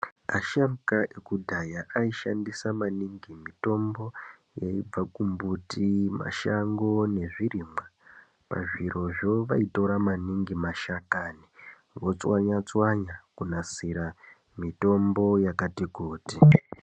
Asharukwa ekudhaya aishandisa maningi mitombo yaibva kumbuti, mashango nezvirimwa. Pazvirozvo vaitora maningi mashakani vochwanya-chwanya kunasira mitombo yakati kuti.